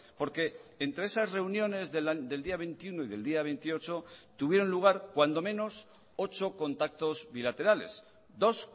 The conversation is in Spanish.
porque entre esas reuniones del día veintiuno y del día veintiocho tuvieron lugar cuando menos ocho contactos bilaterales dos